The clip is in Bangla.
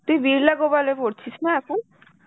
তুই বিড়লা গোপালে করছিস না এখন?